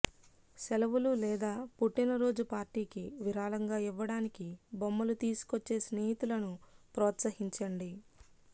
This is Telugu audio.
సెలవులు లేదా పుట్టినరోజు పార్టీకి విరాళంగా ఇవ్వడానికి బొమ్మలు తీసుకొచ్చే స్నేహితులను ప్రోత్సహించండి